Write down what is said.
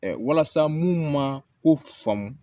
walasa mun man ko faamu